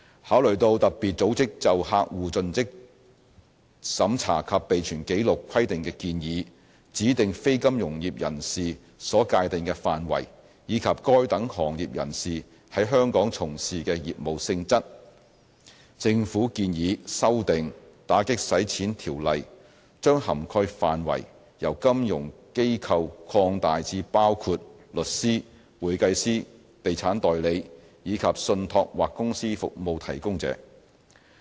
考慮到特別組織就客戶作盡職審查及備存紀錄規定的建議、指定非金融業人士所界定的範圍，以及該等行業人士在香港從事的業務性質，政府建議修訂《條例》，將涵蓋範圍由金融機構擴大至包括律師、會計師、地產代理，以及信託或公司服務提供者。